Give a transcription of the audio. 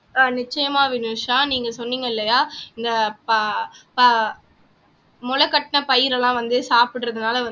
நிச்சயமா வினுஷா நீங்க சொன்னீங்க இல்லையா இந்த ஆஹ் ப ப முளைகட்டின பயிரெல்லாம் வந்து சாப்பிடறதுனால வந்து